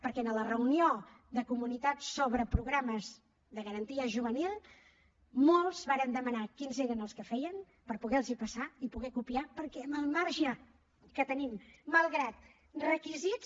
perquè en la reunió de comunitats sobre programes de garantia juvenil molts varen demanar quins eren els que fèiem per poder los hi passar i poder los copiar perquè amb el marge que tenim malgrat requisits